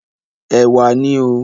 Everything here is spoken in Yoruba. Ẹ̀wà ni o.